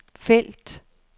felt